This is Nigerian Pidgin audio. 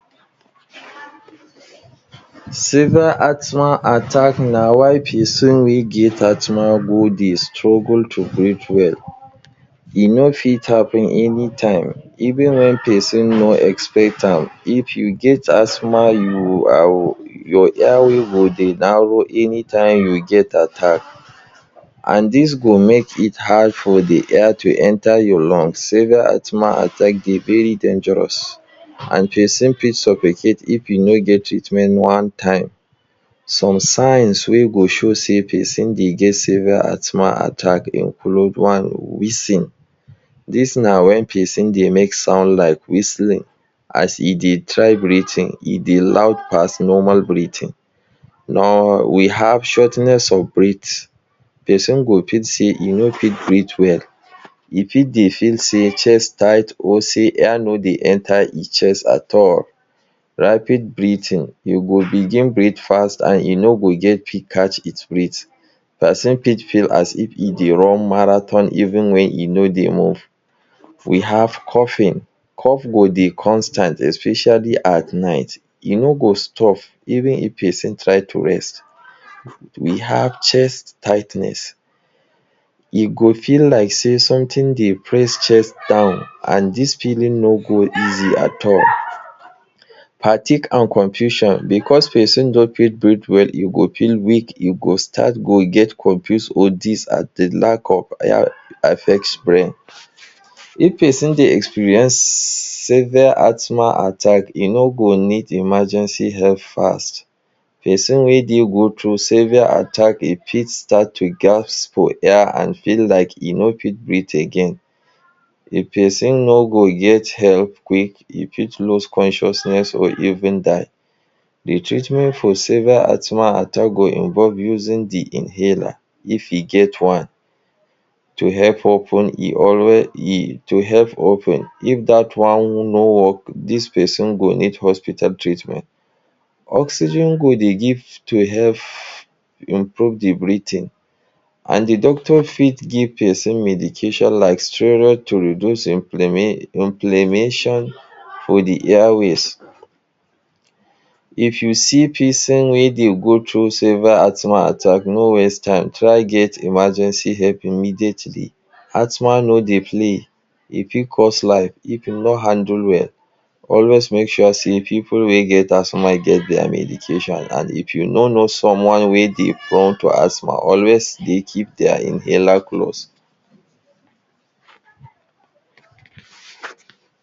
Severe asthma attack na why person wey get asthma go dey struggle to breathe well e no fit happen any time even when person no expect am. if you get asthma, your airways go dey narrow anytime you get attack and this go make it hard for de air to enter your lungs. severe asthma attack dey very dangerous and person fit suffocate if e no get treatment on time. some signs wey go show sey person dey get severe asthma attack include; one, wheezing: this na when person dey make sound like whistling. As e dey try breathing, e dey loud pass normal breathing or we have shortness of breath; person go fit say e no fit breathe well, e fit dey feel sey chest tight or sey air no dey enter e chest at all. rapid breathing: you go begin breathe fast and e no go get quick catch im breath. person fit feel as if e dey run marathon even when e no dey move, we have coughing cough go dey constant especially at night e no go stop even if person try to rest. we have chest tightness: e go feel like sey something dey press chest down and this feeling no go easy at all. fatigue and confusion because person no fit breathe well. e go feel weak. e go start to get confused or this are de lack of affects brain if person dey experience severe asthma attack e no go need emergency help. fast person wey dey go through severe attack, e fit start to gasp for air and feel like e no fit breathe again. de person no go get help quick e fit lose consciousness or even die d treatment for severe asthma attack go involve using de inhaler. if e get one to help open to help open if that one no work this person go need hospital treatment. oxygen go dey give to help improve de breathing and de Doctor fit give person medication like steroids to reduce inflammation for de airways. if you see person wey dey go through severe asthma attack, no waste time, try get emergency help immediately. asthma no dey play, e fit cause life of e no answer well always make sure sey people wey get asthma get their medication for hand and if you no know someone wey dey prone to asthma always dey keep their inhaler close.